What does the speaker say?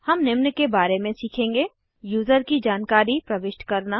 हम निम्न के बारे में सीखेंगे यूज़र की जानकारी प्रविष्ट करना